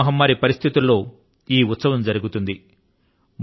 corona మహమ్మారి పరిస్థితుల లో ఈ ఉత్సవం జరుగుతుంది